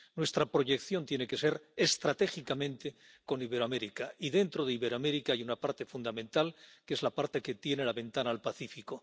Nuestra proyección tiene que ser estratégicamente con Iberoamérica, y, dentro de Iberoamérica, hay una parte fundamental, que es la parte que tiene la ventana al Pacífico.